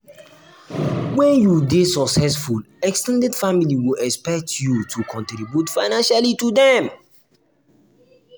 um when you dey successful ex ten ded family go expect you um to contribute financially to dem.